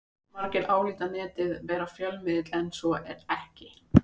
Margir álíta Netið vera fjölmiðil en svo er ekki.